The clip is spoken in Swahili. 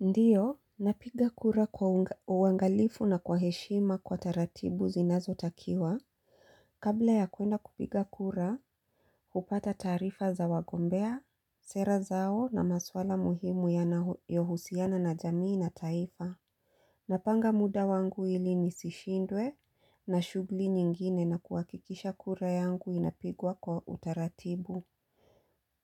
Ndiyo, napiga kura kwa uangalifu na kwa heshima kwa taratibu zinazo takiwa. Kabla ya kuenda kupiga kura, hupata taarifa za wagombea, sera zao na maswala muhimu ya na yohusiana na jamii na taifa. Napanga muda wangu ili ni sishindwe na shugli nyingine na kuwakikisha kura yangu inapigwa kwa utaratibu.